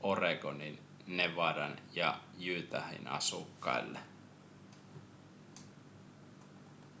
oregonin nevadan ja utahin asukkaille